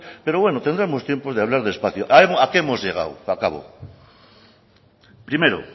pero bueno tendremos tiempo de hablar despacio a que hemos llegado primero